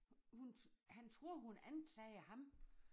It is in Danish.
Hun han troede hun anklagede ham